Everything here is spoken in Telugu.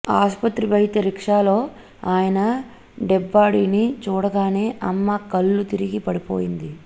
ఆస్పత్రి బయట రిక్షాలో ఆయన డెడ్బాడీని చూడగానే అమ్మ కళ్లు తిరిగి పడిపోయింది